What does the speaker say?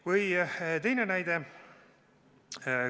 Või teine näide.